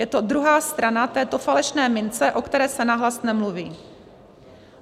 Je to druhá strana této falešné mince, o které se nahlas nemluví.